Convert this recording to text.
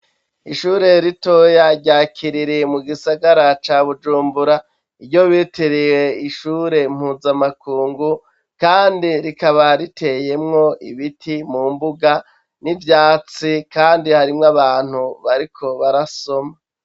ishure ritoya rya kiriri mu gisagara ca bujumbura iryo bitireye ishure mpuzamakungu kandi rikaba riteyemwo ibiti mu mbuga n'ivyatsi kandi harimwo abantu bariko barasoma